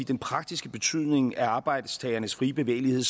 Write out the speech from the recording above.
den praktiske betydning af arbejdstagernes frie bevægelighed